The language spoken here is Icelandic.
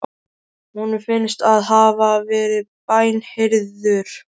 Honum finnst hann hafa verið bænheyrður.